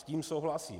S tím souhlasím.